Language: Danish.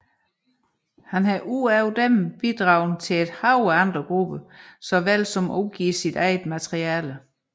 Han har udover dem bidraget til et hav af andre grupper såvel som at udgive sit eget materiale